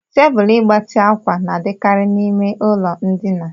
Tebụl mgbatị ákwà na-adịkarị n'ime ụlọ ndina.